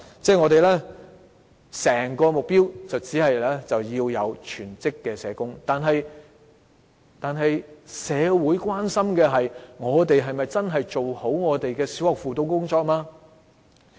政府的目標是要有全職的社工，但社會關心的是，我們是否真的做好了小學的輔導工作。